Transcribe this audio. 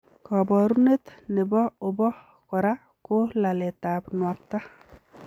Koborunet nebo obo kora ko laletab nuakta.